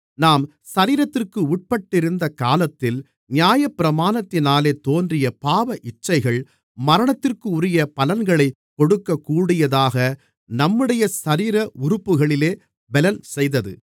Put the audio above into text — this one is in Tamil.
நாம் சரீரத்திற்கு உட்பட்டிருந்த காலத்தில் நியாயப்பிரமாணத்தினாலே தோன்றிய பாவ இச்சைகள் மரணத்திற்குரிய பலன்களைக் கொடுக்கக்கூடியதாக நம்முடைய சரீர உறுப்புகளிலே பெலன்செய்தது